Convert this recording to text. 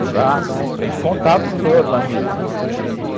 Exato, tem que contar para os outros amigos, e